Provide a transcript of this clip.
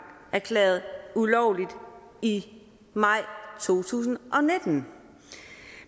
erklæret ulovlig i maj to tusind og nitten